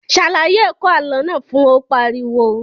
Ṣàlàyé ẹ̀kọ́ àlọ́ náà fún wọn, Ó pariwo